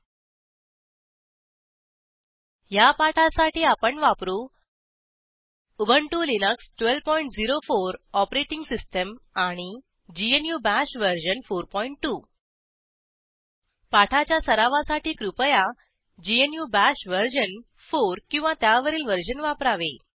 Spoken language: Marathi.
httpwwwspoken tutorialorg ह्या पाठासाठी आपण वापरू उबंटु लिनक्स 1204 ओएस आणि ग्नू बाश वर्जन 42 पाठाच्या सरावासाठी कृपया ग्नू बाश वर्जन 4 किंवा त्यावरील वर्जन वापरावे